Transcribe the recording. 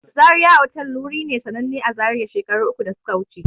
Zaria otal wuri ne sananne a zaria a shekaru uku da suka wuce